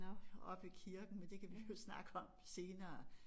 Oppe i kirken men det kan vi jo snakke om senere